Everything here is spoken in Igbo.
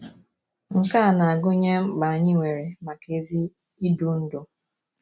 Nke a na - agụnye mkpa anyị nwere maka ezi idu ndú.